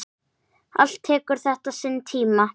Allt tekur þetta sinn tíma.